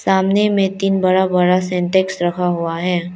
सामने में तीन बड़ा बड़ा सिंटेक्स रखा हुआ है।